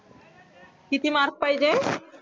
किती mark पाहिजे